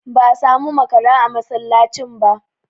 Ba a samu makara a masallacin ba.